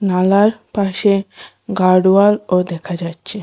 নালার পাশে গার্ডওয়ালও দেখা যাচ্ছে।